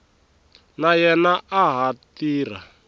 na yena a ha tirha